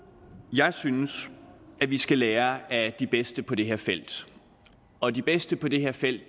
jeg synes at vi skal lære af de bedste på det her felt og de bedste på det her felt